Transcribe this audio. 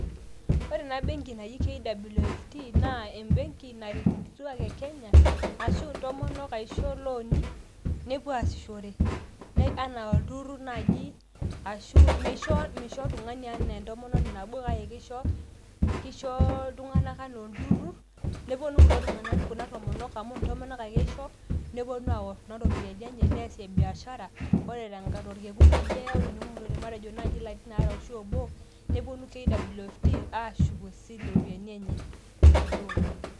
Ore enabenki naji KWFT naa embenki naret nkituak enkenya arashu ntomonok aishoo looni nepuo aasishore, neya anaa olturut naaji ashu meisho oltungani anaa entomononi nabo kake keisho ltunganak anaa olturut neponu kuna tomonok amu ntomonok ake isho neponu aor kuna ropiyiani enye neasie biashara ore torkekun oje matejo nai larin aare arashu obo neponu KWFT ashuk iropiyiani enye .